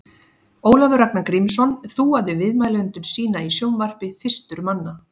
Ólafur Ragnar Grímsson þúaði viðmælendur sína í sjónvarpi fyrstur manna.